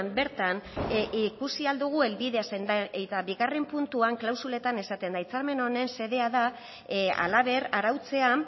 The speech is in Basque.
bertan ikusi ahal dugu helbidea zein eta bigarren puntuan klausuletan esaten da hitzarmen honen xedea da halaber arautzea